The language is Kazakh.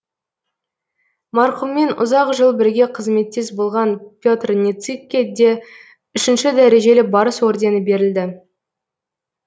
марқұммен ұзақ жыл бірге қызметтес болған петр ницыкке де үшінші дәрежелі барыс ордені берілді